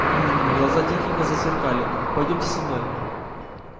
гм-м-м глаза техника засверкали пойдёмте со мной